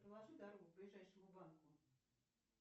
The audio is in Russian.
проложи дорогу к ближайшему банку